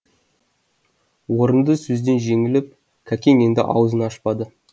орынды сөзден жеңіліп кәкең енді ауызын ашпады